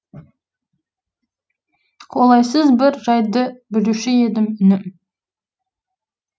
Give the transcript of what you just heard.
қолайсыз бір жайды білуші едім інім